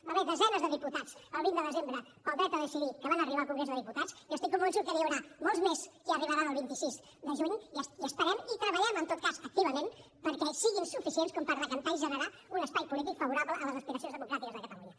va haver hi desenes de diputats el vint de desembre pel dret a decidir que van arribar al congrés dels diputats i estic convençut que n’hi haurà molts més que hi arribaran el vint sis de juny i esperem i treballem en tot cas activament perquè siguin suficients com per decantar i generar un espai polític favorable a les aspiracions democràtiques de catalunya